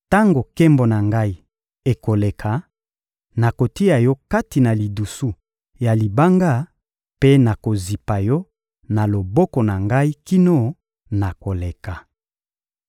Tango nkembo na Ngai ekoleka, nakotia yo kati na lidusu ya libanga mpe nakozipa yo na loboko na Ngai kino nakoleka.